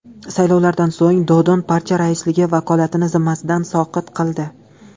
Saylovlardan so‘ng Dodon partiya raisligi vakolatini zimmasidan soqit qildi.